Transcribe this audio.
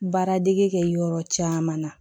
Baaradege kɛ yɔrɔ caman na